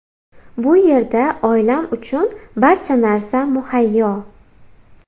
Bu yerda oilam uchun barcha narsa muhayyo.